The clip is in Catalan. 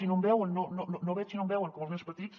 i no em veuen no hi veig i no em veuen com els nens petits